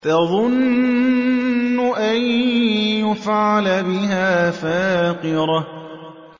تَظُنُّ أَن يُفْعَلَ بِهَا فَاقِرَةٌ